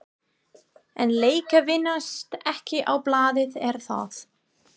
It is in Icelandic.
En leikir vinnast ekki á blaði er það?